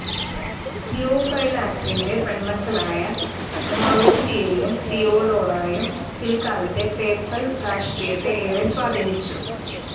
തിയോഫൈലാക്ടിന്റെ പെണ്മക്കളായ മറോസിയയും തിയൊഡോറായും, പിൽക്കാലത്തെ പേപ്പൽ രാഷ്ട്രീയത്തെ ഏറെ സ്വാധീനിച്ചു.